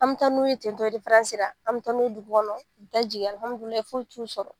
An bɛ taa n'u ye ten tɔ de la an bɛ taa n'u ye dugu kɔnɔ da jigin u bɛ taa jigin foyi t'u sɔrɔ